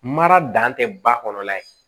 Mara dan tɛ ba kɔnɔ la ye